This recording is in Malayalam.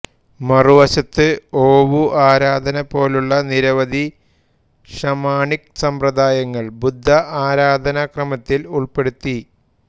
മറുവശത്ത് ഓവു ആരാധന പോലുള്ള നിരവധി ഷാമണിക് സമ്പ്രദായങ്ങൾ ബുദ്ധ ആരാധനക്രമത്തിൽ ഉൾപ്പെടുത്തി